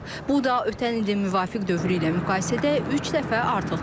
Bu da ötən ilin müvafiq dövrü ilə müqayisədə üç dəfə artıqdır.